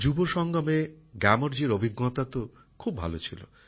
যুব সংগমে গ্যামরজির অভিজ্ঞতা তো খুব ভাল ছিল